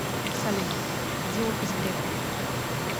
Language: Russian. салют где офис грефа